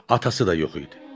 Atası da yox idi.